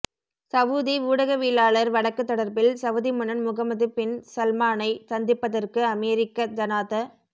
Saudi ஊடகவியலாளர் வழக்கு தொடர்பில் சவுதி மன்னன் முகம்மது பின் சல்மானைச் சந்திப்பதற்காக அமெரிக்க ஜனாத